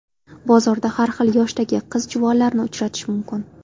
Bozorda har xil yoshdagi qiz-juvonlarni uchratish mumkin.